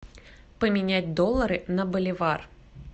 поменять доллары на боливар